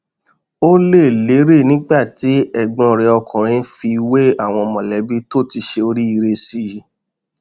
ó lé e léré nígbà tí ẹgbọn rẹ ọkùnrin fi wé àwọn mọlẹbí tó ti ṣe oríire sí i